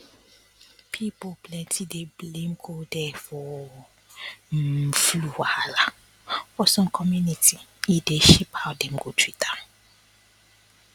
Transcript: um people plenty dey blame cold air for um for wahala for some community e dey shape how dem go treat am